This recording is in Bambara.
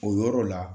O yɔrɔ la